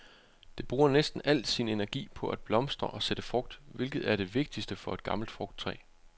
Det bruger næsten al sin energi på at blomstre og sætte frugt, hvilket er det vigtigste for et gammelt frugttræ.